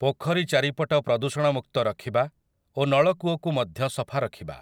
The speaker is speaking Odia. ପୋଖରୀ ଚାରିପଟ ପ୍ରଦୂଷଣ ମୁକ୍ତ ରଖିବା ଓ ନଳକୂଅକୁ ମଧ୍ୟ ସଫା ରଖିବା ।